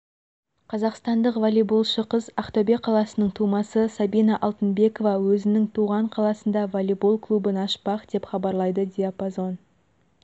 қазақстандық волейболшы қыз ақтөбе қаласының тумасы сабина алтынбекова өзінің туған қаласында волейбол клубын ашпақ деп хабарлайды диапазон